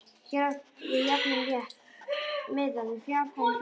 Hér er átt við jafnan rétt miðað við fjárhæð hluta.